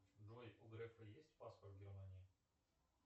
джой у грефа есть паспорт германии